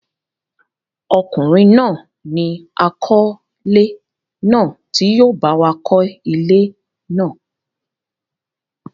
ọkùnrin náà ni àkọ́lé náà tí yóò báwa kọ́ ilé náà.